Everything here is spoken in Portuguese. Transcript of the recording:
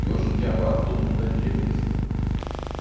E hoje em dia agora todo mundo é Di dJei mesmo, né?